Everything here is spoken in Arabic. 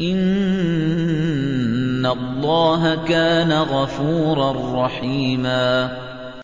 إِنَّ اللَّهَ كَانَ غَفُورًا رَّحِيمًا